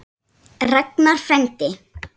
Ragnar frændi.